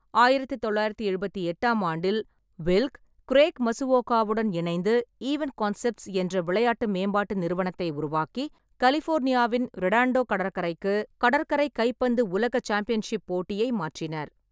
ஆயிரத்து தொள்ளாயிரத்து எழுபத்தெட்டாம் ஆண்டில், வில்க், கிரேக் மசுவோகாவுடன் இணைந்து ஈவென்ட் கான்செப்ட்ஸ் என்ற விளையாட்டு மேம்பாட்டு நிறுவனத்தை உருவாக்கி, கலிபோர்னியாவின் ரெடாண்டோ கடற்கரைக்கு கடற்கரை கைப்பந்து உலக சாம்பியன்ஷிப் போட்டியை மாற்றினர்.